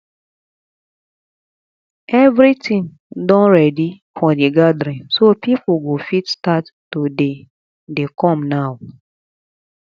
everything don ready for the gathering so people go fit start to dey dey come now